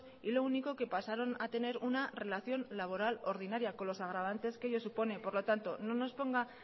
y lo único que pasaron a tener una relación laboral ordinaria con los agravantes que ellos supone por lo tanto no nos ponga